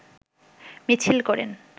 মিছিল করেন